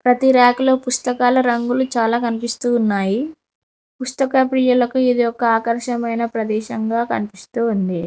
ప్రతి ర్యాక్ లో పుస్తకాల రంగులు చాలా కనిపిస్తూ ఉన్నాయి పుస్తక ప్రియులకు ఇది ఒక ఆకర్షమైన ప్రదేశం గా కనిపిస్తూ ఉంది.